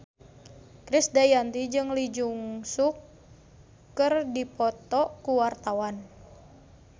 Krisdayanti jeung Lee Jeong Suk keur dipoto ku wartawan